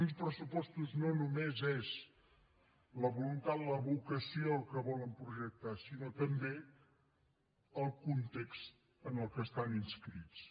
uns pressupostos no només són la voluntat la vocació que volen projectar sinó també el context en què estan inscrits